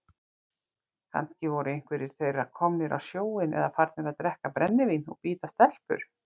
Kannski voru einhverjir þeirra komnir á sjóinn eða farnir að drekka brennivín og bíta stelpur.